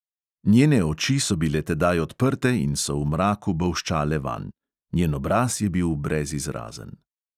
Njene oči so bile tedaj odprte in so v mraku bolščale vanj; njen obraz je bil brezizrazen.